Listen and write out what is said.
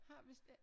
Har vist ek